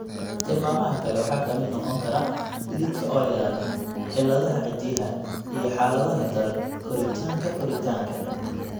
Tilmaamaha kale waxaa ka mid noqon kara dhididka oo yaraada; cilladaha ciddiyaha; iyo xaaladaha daran, koritaanka koritaanka.